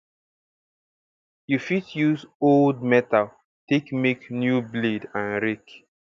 you fit use old metal take make new blade and rake